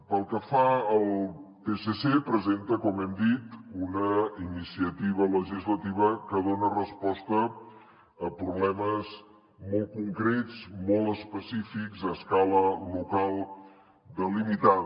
pel que fa al psc presenta com hem dit una iniciativa legislativa que dona resposta a problemes molt concrets molt específics a escala local delimitada